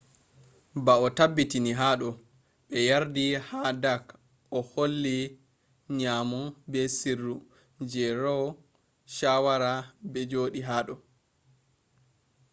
bo o tabbitini hado be yardi ha dark oh holli nyamo be sirru je roe shawara be jodi hado